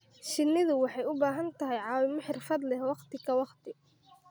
Shinnidu waxay u baahan tahay caawimo xirfad leh waqti ka waqti.